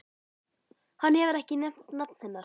Hann hefur ekki nefnt nafn hennar.